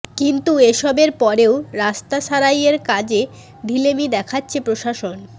কিন্তু এসবের পরেও রাস্তা সারাইয়ের কাজে ঢিলেমি দেখাচ্ছে প্রশাসন